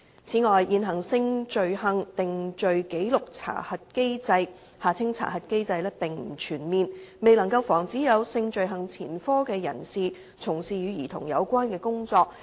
此外，現行性罪行定罪紀錄查核機制並不全面，未能防止有性罪行前科的人士從事與兒童有關的工作。